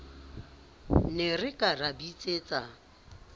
ne re ka ra bitsetsa